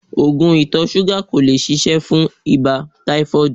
Oògùn ìtọ̀ ṣúgà ò lè ṣiṣẹ́ fún ibà táífọ́ọ̀dù